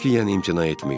Qətiyyən imtina etməyin.